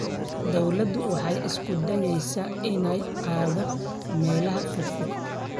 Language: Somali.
Dawladdu waxay isku dayaysaa inay gaadho meelaha fogfog.